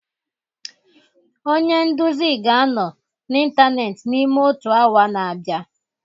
Onye nduzi ga-anọ n'ịntanetị n'ime otu awa na-abịa